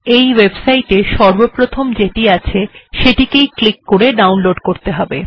এই ওয়েবপেজ এ সর্বপ্রথম যে সংস্করণটির উল্লেখ আছে সেটিতে ক্লিক করে ডাউনলোড় করতে হবে